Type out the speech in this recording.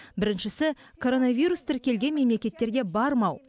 біріншісі коронавирус тіркелген мемлекеттерге бармау